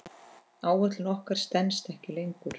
Áætlun okkar stenst ekki lengur.